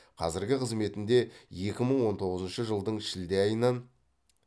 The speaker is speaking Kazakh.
қазіргі қызметінде екі мың он тоғызыншы жылдың шілде айынан